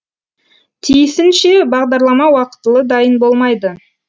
тиісінше бағдарлама уақытылы дайын болмайды